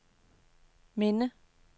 minde